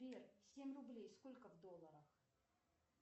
сбер семь рублей сколько в долларах